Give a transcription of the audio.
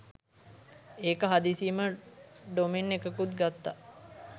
එකා හදිසියෙම ඩොමෙන් එකකුත් ගත්තා